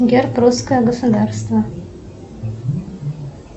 герб русское государство